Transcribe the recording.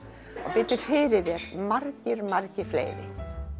biddu fyrir þér margir margir fleiri